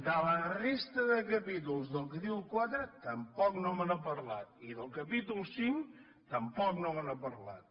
de la resta de capítols del capítol iv tampoc no me n’ha parlat i del capítol v tampoc no me n’ha parlat